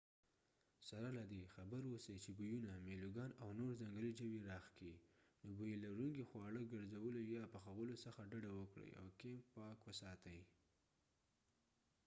سره له دې خبر ووسئ چې بویونه میلوګان او نور ځنګلي ژوي راښکي نو بوی لرونکي خواړه ګرځولو یا پخولو څخه ډډ وکړئ او کېمپ پاک وساتئ